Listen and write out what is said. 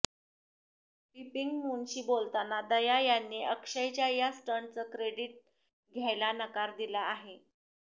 पीपिंगमूनशी बोलताना दया यांनी अक्षयच्या या स्टंटचं क्रेडिट घ्यायला नकार दिला आहे